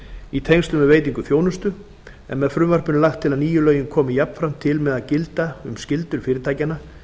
í tengslum við veitingu þjónustu en með frumvarpinu er lagt til að nýju lögin komi jafnframt til með að gilda um skyldur fyrirtækjanna